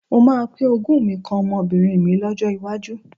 Mo máa pín ogún mi kan ọmọbìnrin mi lọ́jọ́ iwájú.